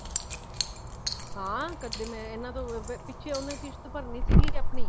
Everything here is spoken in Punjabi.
ਹਾਂ ਕਦੇ ਮੈਂ ਇਹਨਾ ਤੋਂ ਪਿੱਛੇ ਹਨੇ ਕਿਸ਼੍ਤ ਭਰਨੀ ਸੀ ਆਪਣੀ